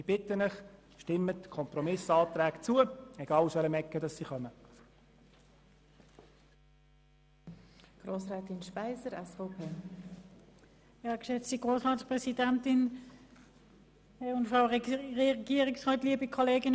Ich bitte Sie, stimmen Sie den Kompromiss-Planungserklärungen zu, egal aus welcher Ecke diese kommen.